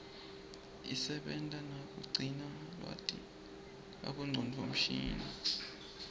isebenta nakugcina lwati kubongcondo mshini